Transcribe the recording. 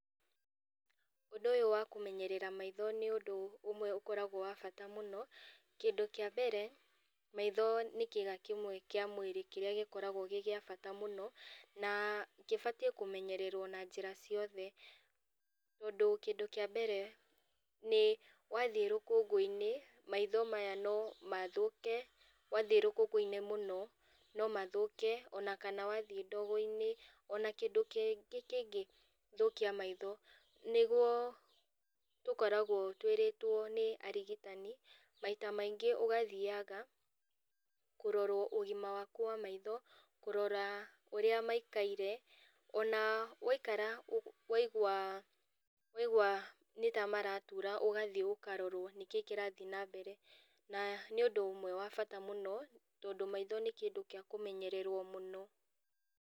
Ũndũ ũyũ wakũmenyerera maitho nĩũndũ ũmwe ũkoragwo wa bata mũno, kĩndũ kĩa mbere, maitho nĩ kĩga kĩmwe kĩa mwĩrĩ kĩrĩa gĩkoragwo gĩ gĩa bata mũno, na kĩbatie kũmenyererwo na njĩra ciothe. Tondũ kĩndũ kĩa mbere nĩ wathiĩ rũkũngũinĩ, maitho maya no mathũke, wathiĩ rũkũngũinĩ mũno no mathũke ona kana wathiĩ ndogoinĩ, ona kindũ kingĩ thũkia maitho nĩ gũkoragwo twĩrĩtwo nĩ arigitani maita maingĩ ũgathiaga kũrorwo ũgima waku wa maitho kũrora ũrĩa maikaire ona waikara waigua waigua nĩtamaratura ũgathiĩ ũkarorwo nĩkĩ kĩrathiĩ na mbere na nĩũndũ ũmwe wa bata mũno, tondũ maitho nĩ kĩndũ gĩa kũmenyererwo mũno.